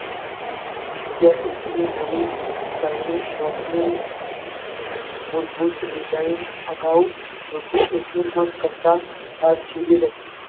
એક ની નવી ચલણી નોટ ની મૂળભૂત design અગાઉ રૂપિયા એક ની કિંમત કરતા